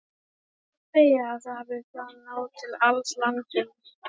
Má segja að þá hafi það náð til alls landsins.